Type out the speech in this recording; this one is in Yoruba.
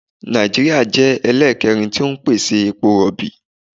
Nàìjíríà jẹ́ ẹlẹ́ẹ̀kẹrin tí ń pèsè epo rọ̀bì.